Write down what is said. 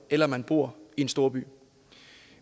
eller man bor i en storby